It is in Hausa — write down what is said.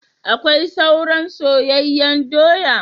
Akwai soran soyanyen doya?